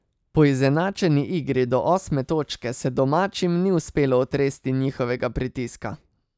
Po izenačeni igri do osme točke se domačim ni uspelo otresti njihovega pritiska.